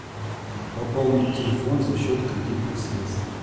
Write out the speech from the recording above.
пополнить телефон за счет кредитных средств